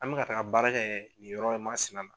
An bɛ ka taga baara kɛ nin yɔrɔ in masina na.